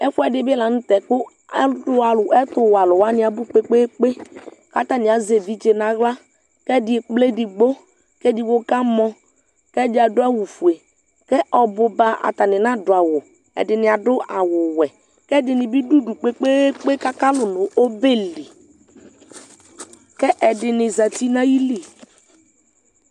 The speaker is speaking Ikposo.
ɛfuedi bi lantɛ kò ɛtuwɛ alo wani abò kpekpekpe k'atani azɛ evidze n'ala k'ɛdi ekple edigbo k'edigbo kamɔ k'ɛdi ado awu fue k'ɔbuba atani nado awu ɛdini ado awu wɛ k'ɛdini bi do udu kpekpekpe k'aka lò no ɔbɛli k'ɛdini zati n'ayili